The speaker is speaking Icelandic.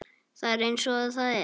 Það er eins og það er